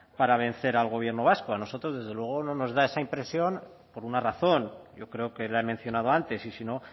para vencer al gobierno vasco a nosotros desde luego no nos da esa impresión por una razón yo creo que la he mencionado antes y si no